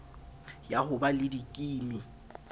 ya ho ba le dikimi